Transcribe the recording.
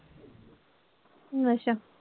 ਅੱਛਾ।